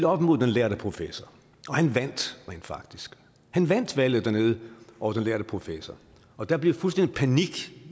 op mod den lærde professor og han vandt rent faktisk han vandt valget dernede over den lærde professor og der blev fuldstændig panik